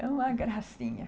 É uma gracinha.